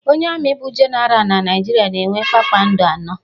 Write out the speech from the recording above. Onye Ami bụ Jenara na Naijiria na-enwe kpakpando anọ.